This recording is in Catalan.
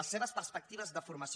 les seves perspectives de formació